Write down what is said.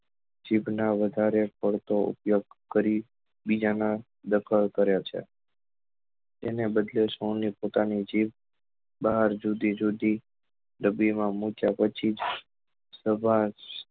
જીભ નો વધારે પડતો ઉપયોગ કરી બીજા નો ડખો કર્યો છે તેને બદલે સૌ ને પોતાની જીભ બહાર જુદી જુદી ડબ્બી માં મુક્યા પછી જ સમાજ